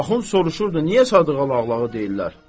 Axund soruşurdu, niyə Sadığa Lağlağı deyirlər?